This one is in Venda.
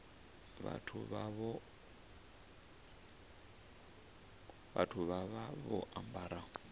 vhathu vha vha vho ambara